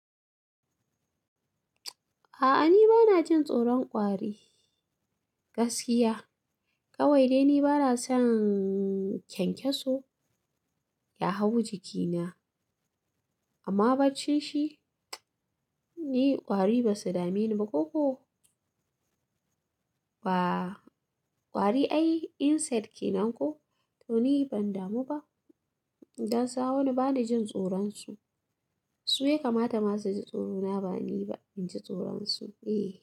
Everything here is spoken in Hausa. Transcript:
A'a, ni ba na jin tsoron ƙwari gaskiya. Kawai dai ni ba na son kyankyaso ya hau jikina. Amma bacci shi, ni ƙwari ba su dame ni ba koko. Ba, ƙwari ai insect kenan ko? To ni ban damu ba. Dan sa wani ba ni jin tsoron su. Su ya kamata ma su ji tsorona ba ni ba inji tsoron su, eh.